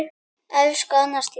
Elsku Anna Stína.